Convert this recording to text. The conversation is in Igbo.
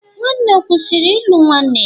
Nwanne o kwụsịrị ịlụ nwanne ya?